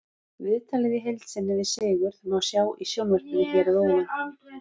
Viðtalið í heild sinni við Sigurð má sjá í sjónvarpinu hér að ofan.